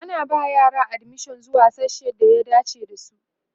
ana ba yara admission zuwa sasshen da ya dace da su